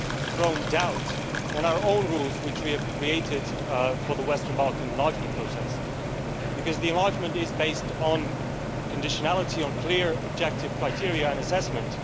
thrown doubt on our own rules which we have created for the Western Balkan enlargement process, because the enlargement is based on conditionality, on clear objective criteria and assessment.